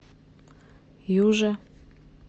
юже